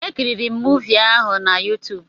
Ekiriri m muuvi ahụ na YuTuub